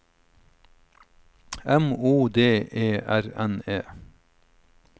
M O D E R N E